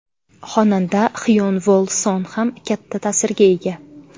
Xonanda Xyon Vol Son ham katta ta’sirga ega.